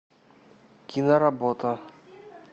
киноработа